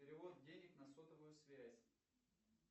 перевод денег на сотовую связь